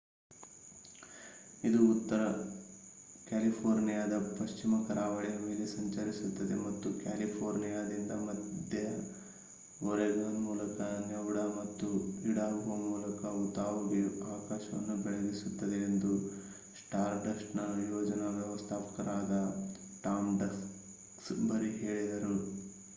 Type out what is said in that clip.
"ಇದು ಉತ್ತರ ಕ್ಯಾಲಿಫೋರ್ನಿಯಾದ ಪಶ್ಚಿಮ ಕರಾವಳಿಯ ಮೇಲೆ ಸಂಚರಿಸುತ್ತದೆ ಮತ್ತು ಕ್ಯಾಲಿಫೋರ್ನಿಯಾದಿಂದ ಮಧ್ಯ ಒರೆಗಾನ್ ಮೂಲಕ ನೆವಾಡಾ ಮತ್ತು ಇಡಾಹೊ ಮೂಲಕ ಉತಾಹ್‌ಗೆ ಆಕಾಶವನ್ನು ಬೆಳಗಿಸುತ್ತದೆ ಎಂದು ಸ್ಟಾರ್‌ಡಸ್ಟ್‌ನ ಯೋಜನಾ ವ್ಯವಸ್ಥಾಪಕರಾದ ಟಾಮ್ ಡಕ್ಸ್‌ಬರಿ ಹೇಳಿದರು